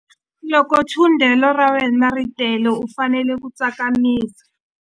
Loko thundelo ra wena ri tele u fanele ku tsakamisa.